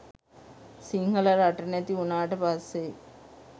සිංහල රට නැති උනාට පස්සේ